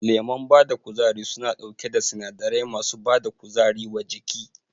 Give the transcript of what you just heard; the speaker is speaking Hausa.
Lemon bada kuzari suna ɗauke da sinadarai masu bada kuzari wa jiki